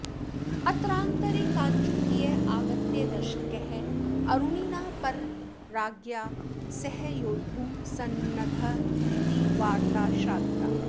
अत्रान्तरे काञ्चुकीय आगत्य दर्शकः अरुणिना परराज्ञा सह योद्धुं सन्नद्ध इति वार्ता श्राविता